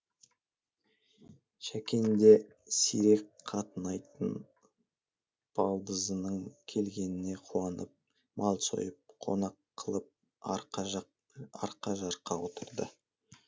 шәкең де сирек қатынайтын балдызының келгеніне қуанып мал сойып қонақ қылып арқа жарқа отырды